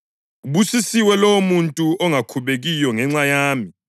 Ubusisiwe lowomuntu ongakhubekiyo ngenxa yami.”